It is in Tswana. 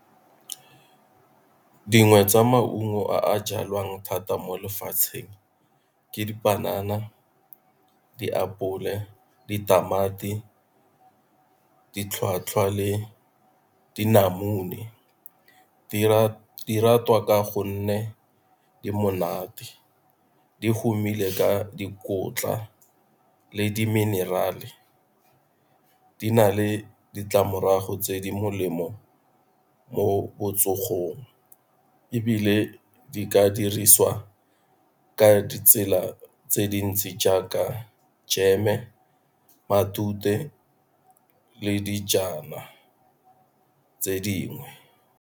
Dingwe tsa maungo a a jalwang thata mo lefatsheng ke dipanana, diapole, ditamati, le dinamune. Di ratwa ka gonne Di monate, di humile ka dikotla le di menirale, di na le ditlamorago tse di molemo mo botsogong ebile di ka dirisiwa ka ditsela tse dintsi jaaka jeme, matute, le dijana tse dingwe.